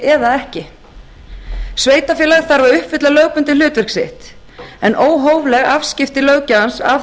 eða ekki sveitarfélag þarf að uppfylla lögbundið hlutverk sitt en óhófleg afskipti löggjafans af